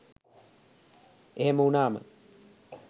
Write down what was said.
එහෙම වුණාම